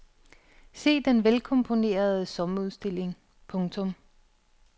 Se den vel komponerede sommerudstilling. punktum